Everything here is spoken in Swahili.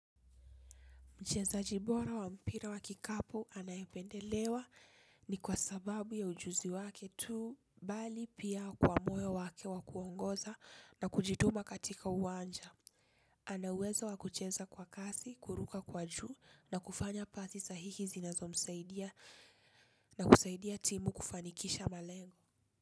Mchezaji bora wa mpira wa kikapu anaependelewa ni kwa sababu ya ujuzi wake tuu bali pia kwa moyo wake wakuongoza na kujituma katika uwanja. Anauwezo wakucheza kwa kasi, kuruka kwa juu na kufanya kazi sahihi zinazo msaidia na kusaidia timu kufanikisha malengo.